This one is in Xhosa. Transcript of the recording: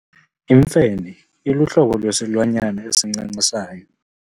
Imfene iluhlobo lwesilwanyana esincancisayo.